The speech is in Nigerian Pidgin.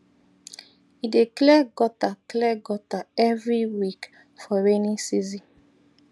e dey clear gutter clear gutter every week for rainy season